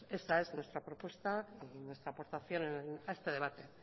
esa es nuestra propuesta y nuestra aportación a este debate